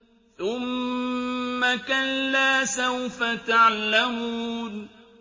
ثُمَّ كَلَّا سَوْفَ تَعْلَمُونَ